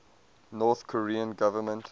north korean government